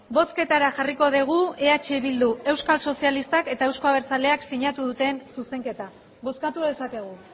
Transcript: bozketara jarriko dugu eh bildu euskal sozialak eta euzko abertzaleak sinatu duten zuzenketa bozkatu dezakegu